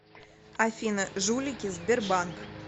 афина жулики сбербанк